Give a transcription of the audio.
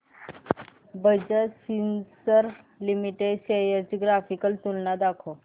Bajaj Finserv limited shares ची graphical तुलना दाखव